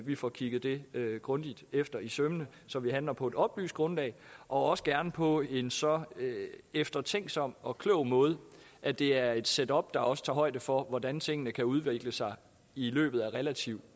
vi får kigget det grundigt efter i sømmene så vi handler på et oplyst grundlag og også gerne på en så eftertænksom og klog måde at det er et setup der også tager højde for hvordan tingene kan udvikle sig i løbet af relativt